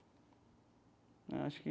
Né acho que...